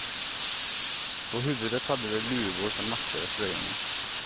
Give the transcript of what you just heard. På huvudet hade de luvor som matchade tröjorna.